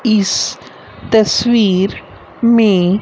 इस तस्वीर में--